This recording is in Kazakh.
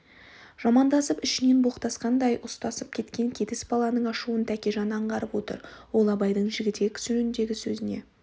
жамандасып ішінен боқтасқандай ұстасып кеткен кетіс баласының ашуын тәкежан аңғарып отыр ол абайдың жігітек жөніндегі сөзіне